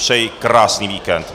Přeji krásný víkend.